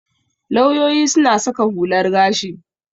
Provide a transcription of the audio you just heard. Lauyoyi suna saka hular gashi.